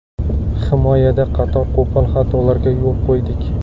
Himoyada qator qo‘pol xatolarga yo‘l qo‘ydik.